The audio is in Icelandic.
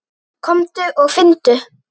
Komdu og finndu!